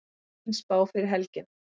Fín spá fyrir helgina